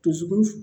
Dusukun